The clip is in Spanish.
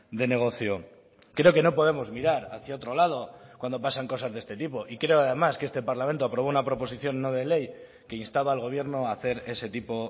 de negocio creo que no podemos mirar hacia otro lado cuando pasan cosas de este tipo y creo además que este parlamento aprobó una proposición no de ley que instaba al gobierno a hacer ese tipo